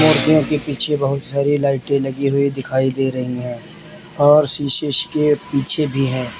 मूर्तियों के पीछे बहुत सारी लाइटें लगी हुई दिखाई दे रही हैं और शीशे के पीछे भी हैं।